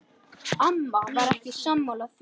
Amma var ekki sammála því.